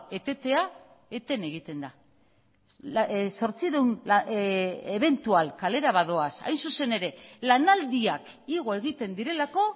etetea eten egiten da zortziehun ebentual kalera badoaz hain zuzen ere lanaldiak igo egiten direlako